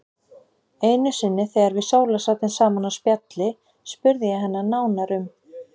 Einu sinni þegar við Sóla sátum saman á spjalli spurði ég hana nánar um